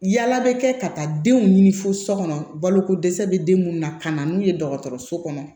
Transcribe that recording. Yala bɛ kɛ ka taa denw ɲini fo so kɔnɔ balokodɛsɛ bɛ den munnu na ka na n'u ye dɔgɔtɔrɔso kɔnɔ